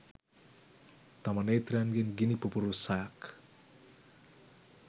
තම නේත්‍රයන්ගෙන් ගිනි පුපුරු සයක්